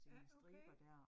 Ja okay